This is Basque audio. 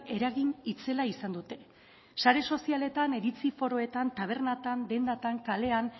eragin itzela izan dute sare sozialetan iritzi foroetan tabernatan dendatan kalean